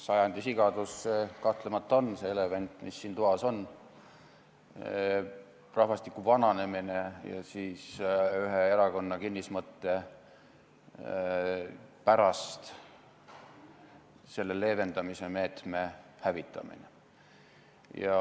Sajandi sigadus kahtlemata see elevant, mis siin toas on, on: rahvastiku vananemine ja ühe erakonna kinnismõtte pärast selle leevendamise meetme hävitamine.